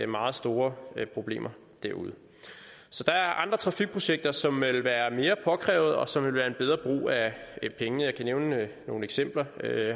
meget store problemer derude så der er andre trafikprojekter som vil være mere påkrævede og som vil være en bedre brug af pengene jeg kan nævne nogle eksempler